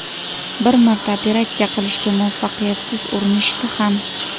Bir marta operatsiya qilishga muvaffaqiyatsiz urinishdi ham.